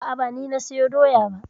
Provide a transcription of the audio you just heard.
A'a ba ni na sayo doya ba.